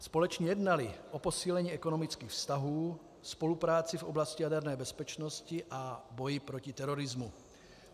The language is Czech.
Společně jednali o posílení ekonomických vztahů, spolupráci v oblasti jaderné bezpečnosti a boji proti terorismu.